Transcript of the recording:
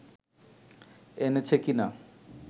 এনেছে কিনা